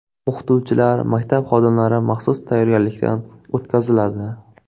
O‘qituvchilar, maktab xodimlari maxsus tayyorgarlikdan o‘tkaziladi.